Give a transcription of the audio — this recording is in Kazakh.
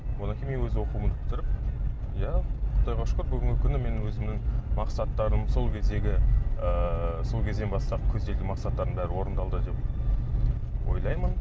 содан кейін мен өзім оқуымды бітіріп иә құдайға шүкір бүгінгі күні мен өзімнің мақсаттарым сол кездегі ыыы сол кезден бастап көзделген мақсаттарым бәрі орындалды деп ойлаймын